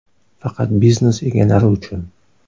Faqat biznes egalari uchun!!!.